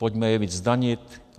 Pojďme je více zdanit!